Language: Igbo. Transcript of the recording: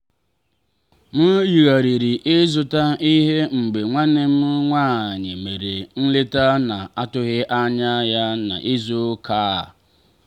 m yigharịrị ịzụrụ ihe mgbe nwanne m nwanyị mere nleta na-atụghị anya ya n'izu ụka a.